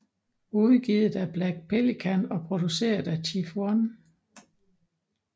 Udgivet af Black Pelican og produceret af Chief 1